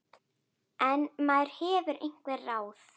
En maður hefur einhver ráð.